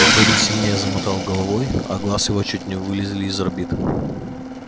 добби сильнее замотал головой а глаз его чуть не вылезли из орбит